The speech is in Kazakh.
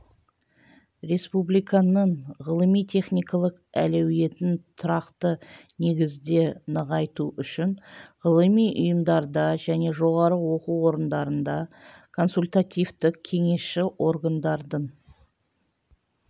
республиканың ғылыми-техникалық әлеуетін тұрақты негізде нығайту үшін ғылыми ұйымдарда және жоғары оқу орындарында консультативтік-кеңесші органдардың